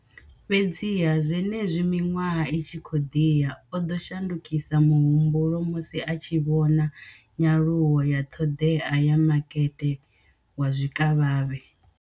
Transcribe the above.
Fhedziha, zwenezwi miṅwaha i tshi khou ḓi ya, o ḓo shandukisa muhumbulo musi a tshi vhona nyaluwo ya ṱhoḓea ya makete wa zwikavhavhe.